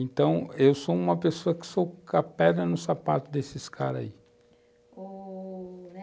Então, eu sou uma pessoa que soco a pedra no sapato desses caras aí. Ô...